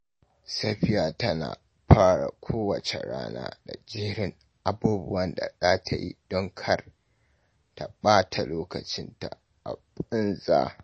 Safiya tana fara kowace rana da jerin abubuwan da za ta yi don kar ta ɓata lokacinta a banza.